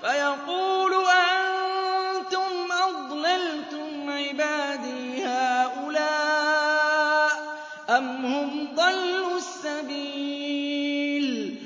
فَيَقُولُ أَأَنتُمْ أَضْلَلْتُمْ عِبَادِي هَٰؤُلَاءِ أَمْ هُمْ ضَلُّوا السَّبِيلَ